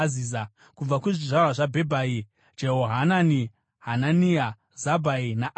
Kubva kuzvizvarwa zvaBhebhai: Jehohanani, Hanania, Zabhai naAtirai.